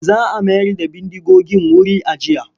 Za a mayar da bindigogin wuri ajiya.